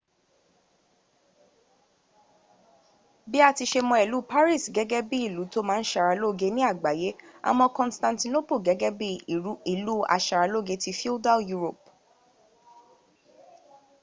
bí a ti ṣe mọ ìlú paris gẹ́gẹ́ bí ìlú tó ma ń ṣàralóge ní àgbáyé a mọ constantinople gẹ́gẹ́ bí ìlú aṣaralógé tí feudal europe